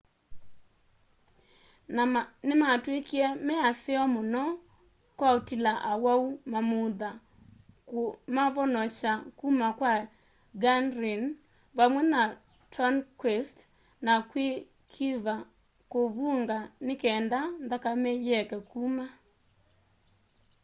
ni matwikite me aseo muno kwa utila awau mamutha kumavonokya kuma kwa ganrene vamwe na tourniquets na mwikiva kuvunga nikenda nthakame yieke kuma